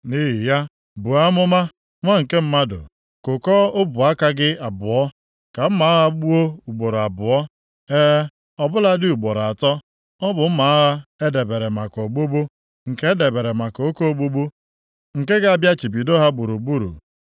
“Nʼihi ya, buo amụma, nwa nke mmadụ. Kụkọọ ọbụ aka gị abụọ, ka mma agha gbuo ugboro abụọ e, ọ bụladị ugboro atọ. Ọ bụ mma agha e debere maka ogbugbu, nke e debere maka oke ogbugbu nke ga-abịachibido ha gburugburu.